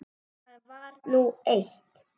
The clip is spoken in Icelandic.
Það var nú eitt.